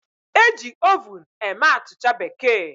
E ji Ovun eme Achicha bekee